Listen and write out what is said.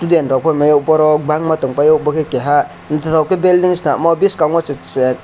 student rok phaio hinmaio borok bangma tongpaio bokhe keha naithotok khe building swnamo biskango chwrai.